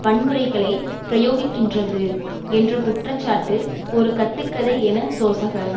வன்முறைகளைப் பிரயோகிக்கின்றது என்ற குற்றச்சாட்டு ஒரு கட்டு கதை என சோசக